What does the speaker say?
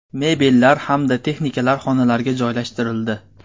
Mebellar hamda texnikalar xonalarga joylashtirildi.